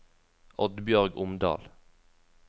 Oddbjørg Omdal